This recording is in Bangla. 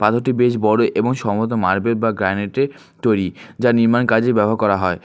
পাথরটি বেশ বড় এবং সম্ভবত মার্বেল বা গ্রানাইট -এর তৈরি যা নির্মাণ কাজে ব্যবহার করা হয়।